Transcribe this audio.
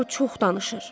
O çox danışır.